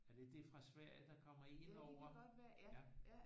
Er det det fra Sverige der kommer indover